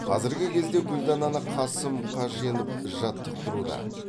қазіргі кезде гүлдананы қасым қаженов жаттықтыруда